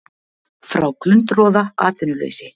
Frá glundroða, atvinnuleysi.